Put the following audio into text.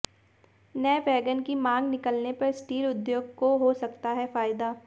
नए वैगन की मांग निकलने पर स्टील उद्योग को हो सकता है फायदा